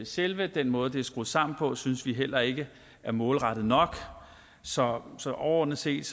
selve den måde det er skruet sammen på synes vi heller ikke er målrettet nok så så overordnet set